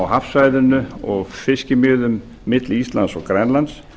á hafsvæðinu og fiskimiðum milli íslands og grænlands